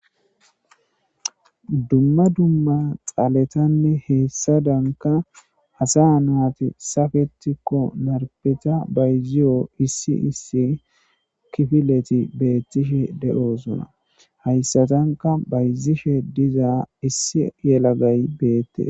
duma duma xaletanne hessadani assa nati saketikko marippeta bayizewu kifileti betishe deyosona hayissatanikka bayizishe diza issi yalagayi bettesi.